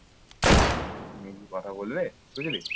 মেয়েটি কথা বললে বুঝলি